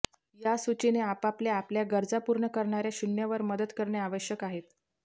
या सूचीने आपल्याला आपल्या गरजा पूर्ण करणार्या शून्य वर मदत करणे आवश्यक आहे